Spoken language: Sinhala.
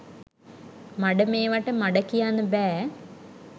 මඩ මේවට මඩ කියන්න බෑ